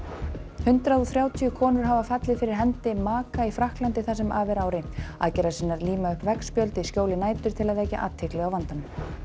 hundrað og þrjátíu konur hafa fallið fyrir hendi maka í Frakklandi það sem af er ári líma upp veggspjöld í skjóli nætur til að vekja athygli á vandanum